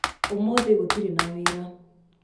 ũmũthĩ gũtirĩ na wĩra